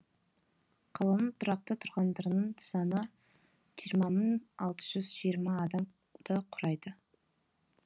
қаланың тұрақты тұрғындарының саны жиырма мың алты жүз жиырма адамды құрайды